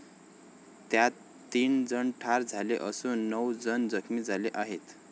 त्यात तीन जण ठार झाले असून नऊ जण जखमी झाले आहेत.